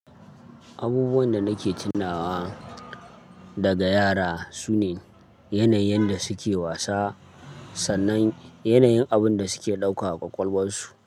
Abubuwan da nake tunawa daga yara sune, yanayin da suke wasa, sannan yanayin abun da suke ɗauka wa ƙwaƙwalwarsu.